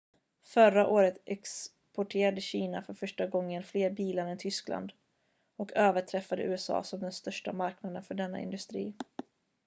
förra året exporterade kina för första gången fler bilar än tyskland och överträffade usa som den största marknaden för denna industri